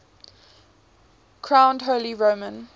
crowned holy roman